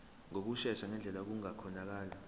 ngokushesha ngendlela okungakhonakala